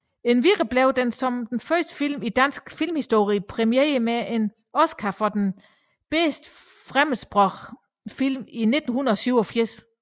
Endvidere blev den som første film i dansk filmhistorie præmieret med en Oscar for bedste fremmedsprogede film i 1987